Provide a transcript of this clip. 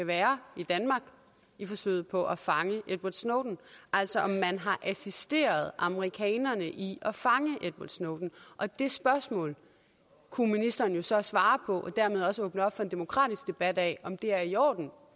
være i danmark i forsøget på at fange edward snowden altså om man har assisteret amerikanerne i at fange edward snowden og det spørgsmål kunne ministeren jo så svare på og dermed også åbne op for en demokratisk debat af om det er i orden